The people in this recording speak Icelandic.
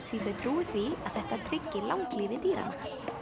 því þau trúi því að þetta tryggi langlífi dýranna